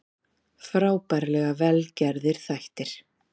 Frábærlega vel gerðir þættir